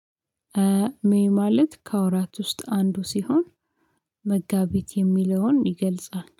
ሜይ ማለት ከወራት ውስጥ አንዱ ሲሆን መጋቢት የሚለውን ይገልጻል